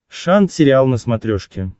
шант сериал на смотрешке